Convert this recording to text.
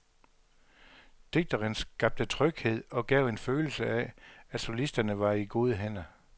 Dirigenten skabte tryghed og gav en følelse af, at solisterne var i gode hænder.